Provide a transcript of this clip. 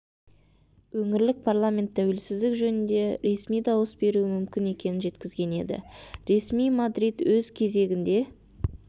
өңірлік парламент тәуелсіздік жөнінде ресми дауыс беруі мүмкін екенін жеткізген еді ресми мадрид өз кезегінде